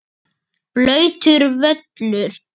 Blautur völlur.